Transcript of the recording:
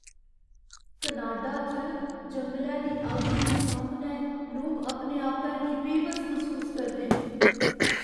Canada च जंगलै दी अग्ग दे सामनै लोक अपने आपै गी बेबस मसूस करदे न।